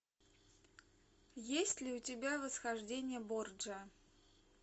есть ли у тебя восхождение борджиа